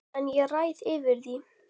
En ég ræð yfir því.